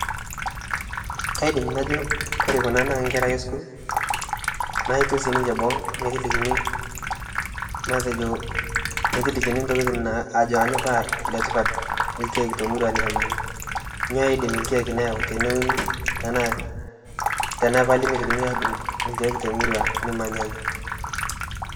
Kaidim najo ore kuna naa nkera ake e school naetuo sininche boo metolikini matejo ajo kanyioo paa letipat ilkeek te murua nikimanya nyoo idim ilkeek ayau teneuni enaa tenepali meitokini adung' ilkeek te murua nimanyanya.